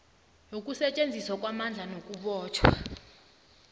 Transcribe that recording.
yokusetjenziswa kwamandla nakubotjhwa